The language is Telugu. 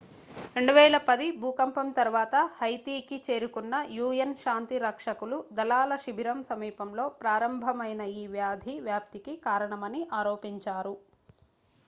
2010 భూకంపం తరువాత హైతీకి చేరుకున్న un శాంతి రక్షకులు దళాల శిబిరం సమీపంలో ప్రారంభమైన ఈ వ్యాధి వ్యాప్తికి కారణమని ఆరోపించారు